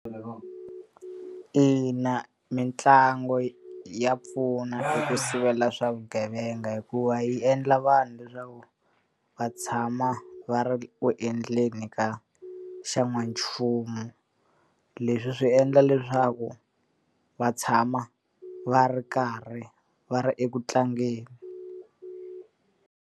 Ina mitlangu ya pfuna ku sivela swa vugevenga hikuva yi endla vanhu leswaku va tshama va ri ku endleni ka xa n'wanchumu. Leswi swi endla leswaku va tshama va ri karhi va ri ekutlangeni.